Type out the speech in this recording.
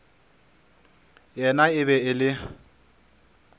yena e be e le